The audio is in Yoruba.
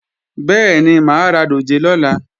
Bẹ́ẹ̀ni, mà á ra dòjé lọ́la